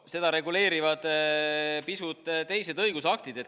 Seda reguleerivad pisut teised õigusaktid.